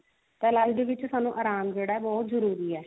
ਤਾਂ life ਦੇ ਵਿੱਚ ਆਰਾਮ ਜਿਹੜਾ ਉਹ ਬਹੁਤ ਜਰੂਰੀ ਹੈ